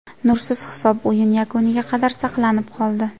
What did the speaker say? Nursiz hisob o‘yin yakuniga qadar saqlanib qoldi.